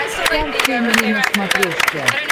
стар фэмили на смотрешке